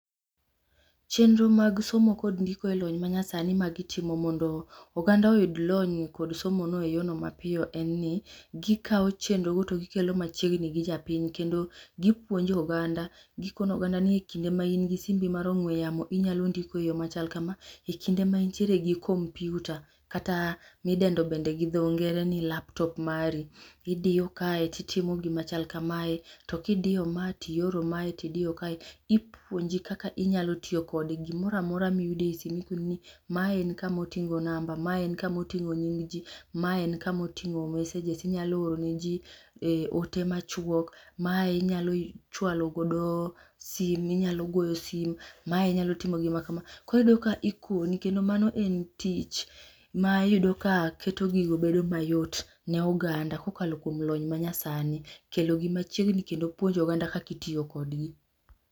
Chenro mag somo kod ndiko e lony ma nyasani magitimo mondo oganda oyud lony kod somo no eyono mapiyo en ni gi kao chendrogo to gikelo machiegni gi japiny kendo gipuonjo oganda gikono oganda ni kinde ma in gi simbi mar ong'we yamo inyalo ndiko e yoo machal kamaa ekinde maintiere gi computer kata midendo bende gidho ngere ni laptop mari idiyo kaye to itimo gima chal kamae to kidiyo mae to ioro mae to idiyo kae ipuonji kaka inyalo tiyo kode, gimoramora miyudo e simu ipuonji maen kamaoting'o number maen kamoting'o nyingji maen kamoting'o messages inyalo ore ne jii eote machuok, mae inyalo chwalo godo simu inyalo goyo simu , mae inyalo timo gima kama, koro iyudo ka ikoni kendo maen tich ma iyudo ka keto gigo bedo mayot ne oganda kokalo kuom lony manyasani. Kelo gi machiegni kendo puonjo oganda kaka itiyo kodgi